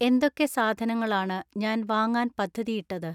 എന്തൊക്കെ സാധനങ്ങളാണ് ഞാൻ വാങ്ങാൻ പദ്ധതി ഇട്ടത്